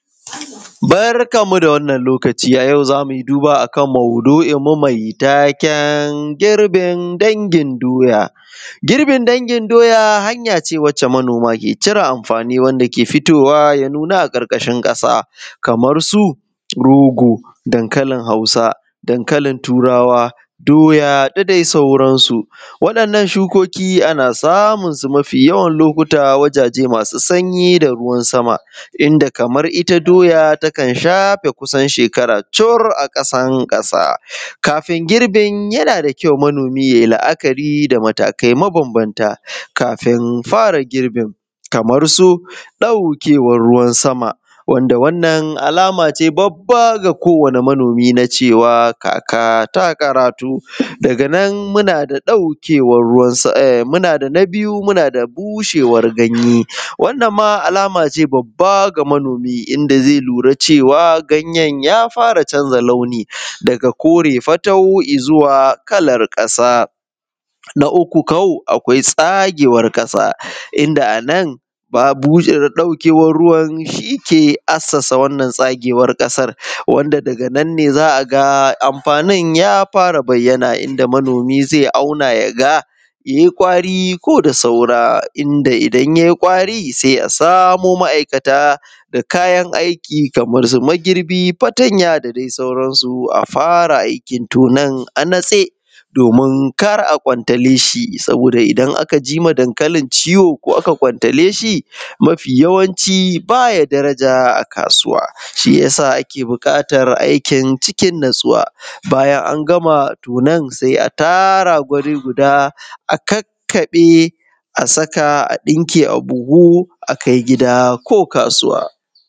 Barkan mu da wannan lokaci a yau zamu yi duba akan mau’dui mai taken girbin dangin doya, girbin dangin doya hanyace manoma ke cire amfani wanda ke fitowa ya nuna a ƙarƙarshin kashi kamar su rogo, dankalin hausa ,dankalin turawa, doya da dai sauran su waɗannan shukoki ana samun su mafi yawan lokuta wajaje masu sanyi da ruwa sama inda kamar ita doya takan shafe kusan shekara cire aƙasa kafin girbin, yana da kyau manomi yayi la’akari da matakai ma banbanta kafin fara girbin kamar su daukewan ruwan sama wanda wannan alama ce babba ga kowani manomi na cewa kaka ta ƙarato daga nan muna da ɗaukewan ruwan sama na biyu muna da bushewar ganye, wannan ma alamace babba ga manomi da zai lura cewa ganyen yafara canza launi daga kore fatau izuwa kalan ƙasa na uku ko akwai tsagewar ƙasa inda anan ɗaukewan ruwan shike asassa wannan tsagewar ƙasar wanda daga nan ne za a ga amfanin ya fara bayyana da manomi zai auna ya ga yayi ƙwari ko da saura inda idan yayi ƙwari sai asamo ma’aikatan da kayan aiki kamar su magirbi, fatanya da dai sauransu a fara aikin tonan a natse domin kar akwanta leshi saboda idan aka jima dankali ciwo ko aka kwantare shi mafi yawanci baya daraja a kasuwa shiyasa ake bukatar aikin cikin natsuwa bayan angama tonan sai a tara guri guda a kakkabe as aka a dinke a buhu akai gida ko kasuwa.